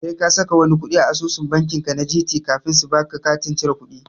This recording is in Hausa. Sai ka saka wani kuɗi a asusu banki ka na Gt kafin su baka katin cire kudi.